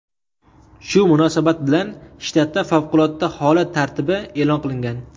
Shu munosabat bilan shtatda favqulodda holat tartibi e’lon qilingan.